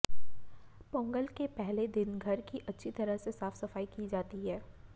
पोंगल के पहले दिन घर की अच्छी तरह से साफ सफाई की जाती है